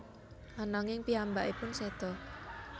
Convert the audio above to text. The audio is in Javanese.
Ananging piyambakipun seda